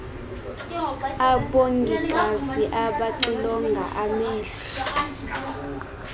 abongikazi abaxilonga amehlo